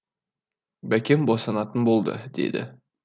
бәкем босанатын болды деді